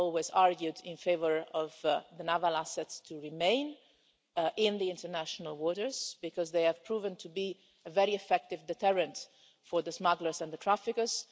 I've always argued in favour of the naval assets remaining in the international waters because they have proven to be a very effective deterrent for the smugglers and the traffickers.